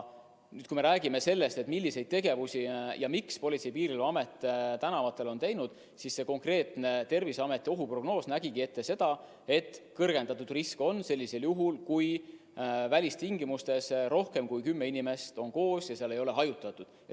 Kui me räägime sellest, mida ja miks Politsei- ja Piirivalveamet tänavatel on teinud, siis see konkreetne Terviseameti ohuprognoos ütles, et kõrgendatud risk on sellisel juhul, kui välistingimustes on koos rohkem kui kümme inimest ja nad ei ole seal hajutatud.